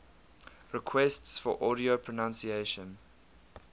requests for audio pronunciation